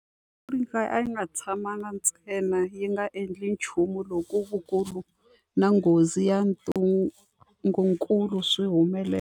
Afrika a yi nga tshamangi ntsena yi nga endli nchumu loko vukulu na nghozi ya ntungukulu swi humelela.